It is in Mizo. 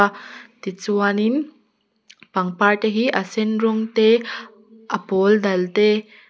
tichuanin pangpar te hi a sen rawng te a pawl dal te--